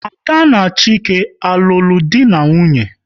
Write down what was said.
Ada na Chike alulo dị na nwunye?